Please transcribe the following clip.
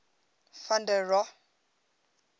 van der rohe